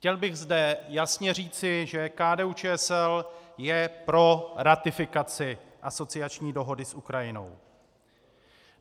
Chtěl bych zde jasně říci, že KDU-ČSL je pro ratifikaci asociační dohody s Ukrajinou.